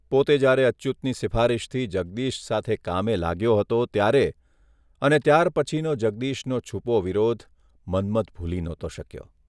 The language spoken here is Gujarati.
પોતે જ્યારે અચ્યુતની સિફારીશથી જગદીશ સાથે કામે લાગ્યો હતો ત્યારે અને ત્યારપછીનો જગદીશનો છૂપો વિરોધ મન્મથ ભૂલી નહોતો શક્યો.